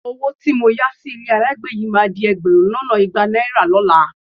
Owó tí mo náà sí ilé ayágbé yìí máa di ẹgbẹ̀rún lọ́nà igba náírà lọ́la